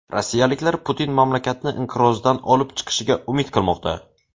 Rossiyaliklar Putin mamlakatni inqirozdan olib chiqishiga umid qilmoqda.